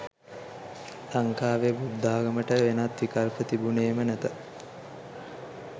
ලංකාවේ බුද්ධාගමට වෙනත් විකල්ප තිබුණේම නැත